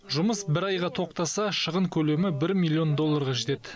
жұмыс бір айға тоқтаса шығын көлемі бір миллион долларға жетеді